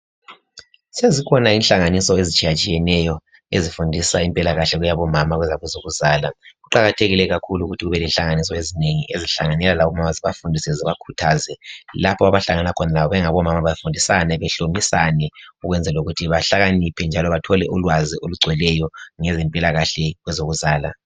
Sezikhona inhlanganiso ezitshiyatshiyeneyo ezifundisa impilakahle yabomama kakhulu kwezokuzala. Kuqakathekile ukuthi kube lenhlanganiso ezinengi ezìhlanganela labomama zibafundise zibakhuthaze lapho abahlangana khona bengomama bafundisane bahlobisane ukwenzela ukuthi bahlakaniphe njalo bathole ulwazi olugcweleyo ngempilakahle kwezokuzala.